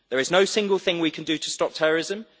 There is no single thing we can do to stop terrorism.